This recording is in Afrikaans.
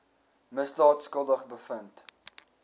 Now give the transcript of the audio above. misdaad skuldig bevind